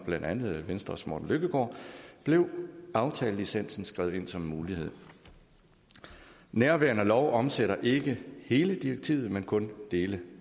blandt andet af venstres morten løkkegaard blev aftalelicensen skrevet ind som en mulighed nærværende lov omsætter ikke hele direktivet men kun dele